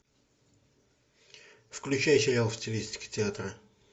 включай сериал в стилистике театра